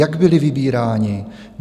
Jak byli vybíráni?